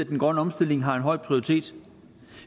den grønne omstilling har en høj prioritet